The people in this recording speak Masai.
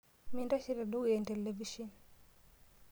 Mintashe tedukuya entelevishen.